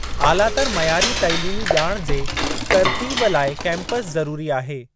आलातर मयारी तइलीमी ॼाण जे तर्तीब लाइ कैंपस ज़रूरी आहे।